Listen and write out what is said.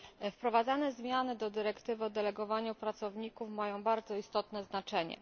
Wprowadzane zmiany do dyrektywy o delegowaniu pracowników mają bardzo istotne znaczenie.